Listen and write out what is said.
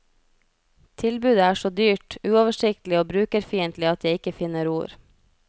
Tilbudet er så dyrt, uoversiktlig og brukerfiendtlig at jeg ikke finner ord.